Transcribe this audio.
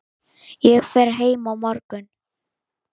Ég fer heim á morgun.